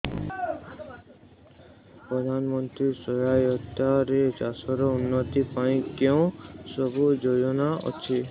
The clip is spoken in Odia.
ପ୍ରଧାନମନ୍ତ୍ରୀ ସହାୟତା ରେ ଚାଷ ର ଉନ୍ନତି ପାଇଁ କେଉଁ ସବୁ ଯୋଜନା ଅଛି